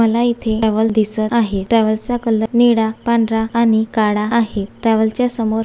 मला येथे ट्रॅव्हल्स दिसत आहे ट्रॅव्हल्स चा कलर निळा पांढरा आणि काळा आहे ट्रॅव्हल्स च्या समोर --